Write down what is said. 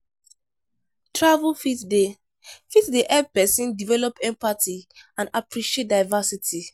Travel fit dey fit dey help pesin develop empathy and appreciate diversity